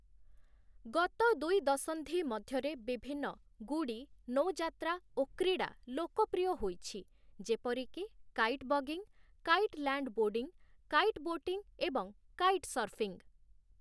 ଗତ ଦୁଇ ଦଶନ୍ଧି ମଧ୍ୟରେ ବିଭିନ୍ନ ଗୁଡ଼ି, ନୌଯାତ୍ରା ଓ କ୍ରୀଡ଼ା ଲୋକପ୍ରିୟ ହୋଇଛି, ଯେପରିକି kite buggying, kite landboarding, kite boating ଏବଂ କାଇଟ୍ ସର୍ଫିଂ ।